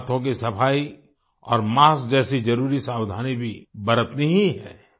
हमें हाथों की सफाई और मास्क जैसी जरुरी सावधानी भी बरतनी ही है